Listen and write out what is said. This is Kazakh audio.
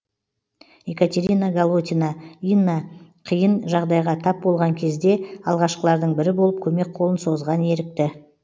екатерина голотина инна қиын жағдайға тап болған кезде алғашқылардың бірі болып көмек қолын созған ерікті